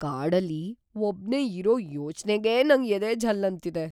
ಕಾಡಲ್ಲಿ ಒಬ್ನೇ ಇರೋ ಯೋಚ್ನೆಗೇ ನಂಗ್ ಎದೆ ಝಲ್‌ ಅಂತಿದೆ.